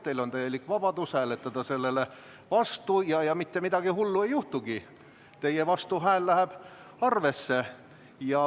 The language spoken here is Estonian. Teil on täielik vabadus hääletada sellele vastu ja mitte midagi hullu ei juhtugi, teie vastuhääl läheb arvesse.